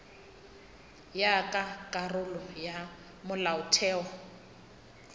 ya ka karolo ya molaotheo